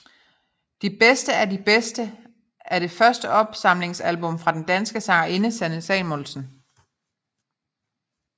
De bedste af de bedste er det første opsamlingsalbum fra den danske sangerinde Sanne Salomonsen